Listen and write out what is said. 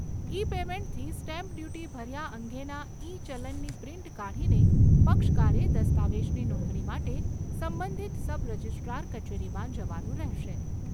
ઇ પેમેન્ટથી stamp duty ભર્યા અંગેના ઇ ચલનની પ્રિન્ટ કાઢીને પક્ષકારે દસ્તાવેજની નોંધણી માટે સંબંધિત સબ રજીસ્ટ્રાર કચેરીમાં જવાનું રહેશે.